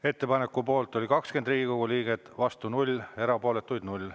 Ettepaneku poolt oli 20 Riigikogu liiget, vastu 0, erapooletuid 0.